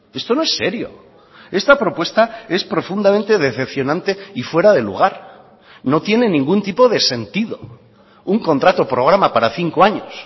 esto no es serio esta propuesta es profundamente decepcionante y fuera de lugar no tiene ningún tipo de sentido un contrato programa para cinco años